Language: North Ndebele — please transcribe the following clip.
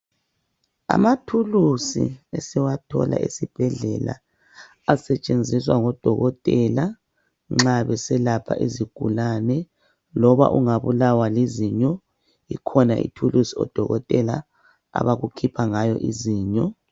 Amathulusi esiwathola esibhedlela asetshenziswa ngodokotela nxa beselapha izigulane loba ungabulawa lizinyo ikhona ithulusi odokotela abakukhipha ngayo izinyo.